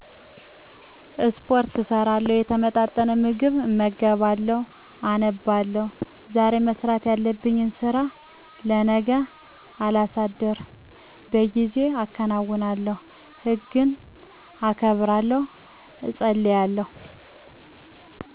ስፖርት እሰራለሁ፣ የተመጣጠነ ምግብ እመገባለሁ፣ አነባለሁ፣ ዛሬ መስራት ያለብኝን ስራ ለነገ ሳላሳድር በጊዜው አከናውናለሁ፣ ሕግን አከብራለሁ፣ እፀልያለሁ